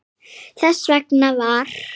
Þess vegna var